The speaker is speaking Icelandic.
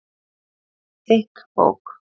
Þykk bók